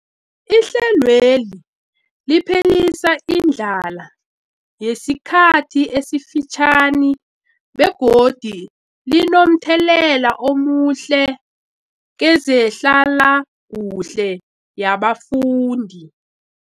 Ihlelweli liphelisa indlala yesikhathi esifitjhani begodu linomthelela omuhle kezehlalakuhle yabafundi.